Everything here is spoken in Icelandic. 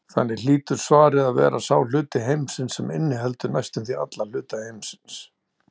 Þannig hlýtur svarið að vera sá hluti heimsins sem inniheldur næstum því alla hluta heimsins.